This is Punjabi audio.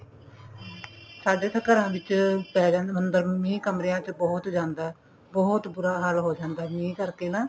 ਸਾਡੇ ਤਾਂ ਘਰਾਂ ਵਿੱਚ ਅੰਦਰ ਮੀਂਹ ਕਮਰਿਆਂ ਵਿੱਚ ਬਹੁਤ ਜਾਂਦਾ ਬਹੁਤ ਬੁਰਾ ਹਾਲ ਹੋ ਜਾਂਦਾ ਮੀਂਹ ਕਰਕੇ ਨਾ